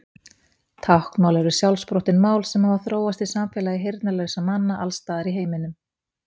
Táknmál eru sjálfsprottin mál sem hafa þróast í samfélagi heyrnarlausra manna alls staðar í heiminum.